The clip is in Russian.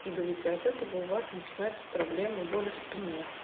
скидывайте от этого у вас начинаются проблемы боли в спине